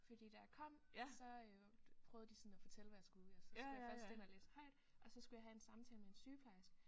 Fordi da jeg kom så øh prøvede de sådan at fortælle hvad jeg skulle og så skulle jeg først ind og læse højt og så skulle jeg have en samtale med en sygeplejerske